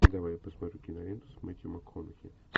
давай я посмотрю киноленту с мэттью макконахи